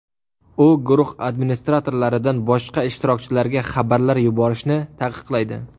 U guruh administratorlaridan boshqa ishtirokchilarga xabarlar yuborishni taqiqlaydi.